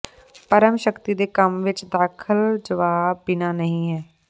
ਪਰਮ ਸ਼ਕਤੀ ਦੇ ਕੰਮ ਵਿੱਚ ਦਖਲ ਜਵਾਬ ਬਿਨਾ ਨਹੀ ਹੈ